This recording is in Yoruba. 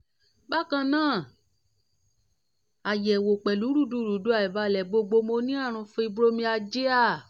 bákan náà ayẹwo pẹlu rudurudu aibalẹ gbogo mo ní àrùn fibromyalgia